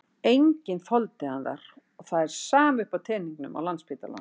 Enginn þoldi hann þar og það er sama uppi á teningnum á Landspítalanum.